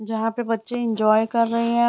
जहाँ पे बच्चे एन्जॉय कर रहे हैं।